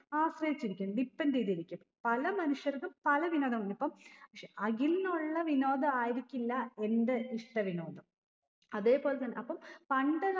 ആശ്രയിച്ചിരിക്കും depend എയ്തിരിക്കും പല മനുഷ്യർക്കും പല വിനോദങ്ങൾ ഇപ്പം ക്ഷെ അഖിൽനുള്ള വിനോദായിരിക്കില്ല എന്റെ ഇഷ്ട്ട വിനോദം അതെ പോലെ തന്നെ അപ്പം പണ്ട്